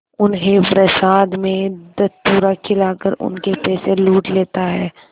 उन्हें प्रसाद में धतूरा खिलाकर उनके पैसे लूट लेता है